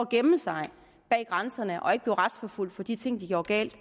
gemme sig bag grænserne og ikke blive retsforfulgt for de ting de gjorde galt